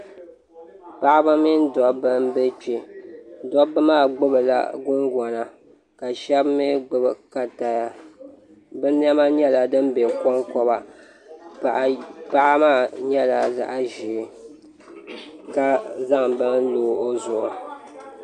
Paɣaba mini dabba n bɛ kpɛ dabba maa gbubila gungona ka shab mii gbubi kataa bi niɛma nyɛla din bɛ konkoba paɣa maa nyɛla zaɣ ʒiɛ ka zaŋ bini lo o zuɣu